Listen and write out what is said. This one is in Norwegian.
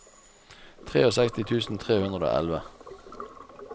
sekstitre tusen tre hundre og elleve